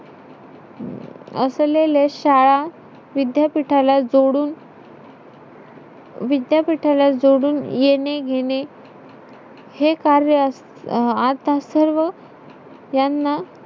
पेर असतात आमच्या गावाला भेंडी आमच्या गावाला चिक्की बोलतात त्याला आमचा भाजीपाला भरपूर असतो